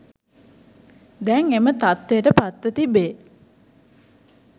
දැන් එම තත්ත්වයට පත්ව තිබේ